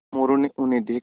मोरू ने उन्हें देखा